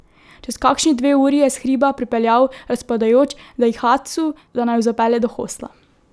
Čez kakšni dve uri je s hriba pripeljal razpadajoč daihatsu, da naju zapelje do hostla.